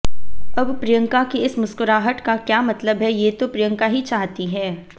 अब प्रियंका की इस मुस्कुराहट का क्या मतलब है ये तो प्रियंका ही चाहती हैं